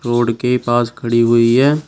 Road के पास खड़ी हुई है।